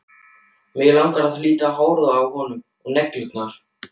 Mig langar að líta á hárið á honum og neglurnar.